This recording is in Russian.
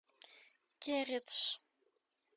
кередж